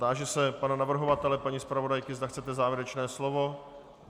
Táži se pana navrhovatele, paní zpravodajky, zda chcete závěrečné slovo.